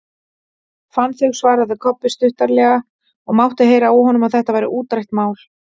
Fann þau, svaraði Kobbi stuttaralega og mátti heyra á honum að þetta væri útrætt mál.